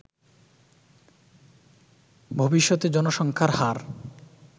ভবিষ্যতে জনসংখ্যার হার